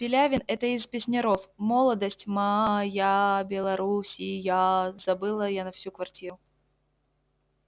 пилявин это из песняров молодость ма-а-а-ая-я-я-я-я белоруссияя-я-я завыла я на всю квартиру